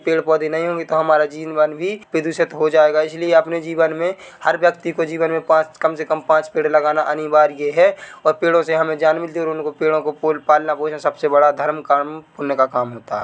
पेड़-पौधे नहीं होंगे तो हमारा जीवन भी प्रदूषित हो जाएगा इसीलिए अपने जीवन मे हर व्यक्ति को जीवन मे पाँच कम से कम पाँच पेड़ लगाना अनिवार्य है और पेड़ो से हमे जान मिलती हैऔर उन पेड़ों को पोल पालना पोसना सबसे बड़ा धर्म काम पुण्य का काम होता है।